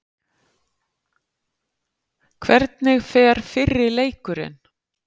Hvernig fer fyrri leikurinn?